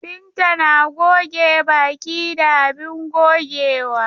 Binta na goge baki da abin gogewa.